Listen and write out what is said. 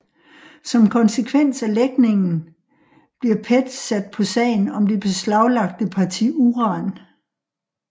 Som konsekvens af lækningen bliver PET sat på sagen om det beslaglagte parti uran